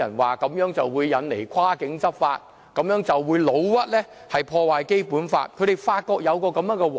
他們指這樣會引來跨境執法，誣衊這樣會破壞《基本法》，他們發覺有機可乘，所